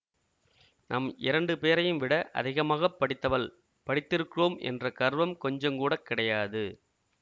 நம் இரண்டு பேரையும்விட அதிகமாக படித்தவள் படித்திருக்கிறோம் என்ற கர்வம் கொஞ்சம் கூட கிடையாது